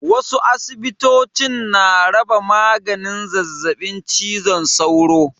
Wasu asibitocin na raba maganin zazzaɓin cizon sauro.